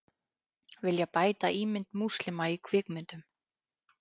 Vilja bæta ímynd múslima í kvikmyndum